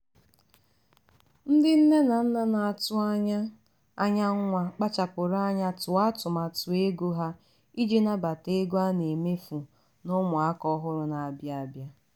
ndị nne na nna na-atụ anya anya nwa kpachapụrụ anya tụọ atụmatụ ego ha iji nabata ego a na-emefụ na ụmụ aka ọhụrụ na-abịa abịa.